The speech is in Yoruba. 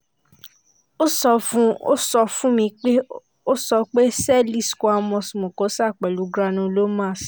ó sọ fún ó sọ fún mi pé ó sọ pé cell squamous mucosa pẹ̀lú granulomas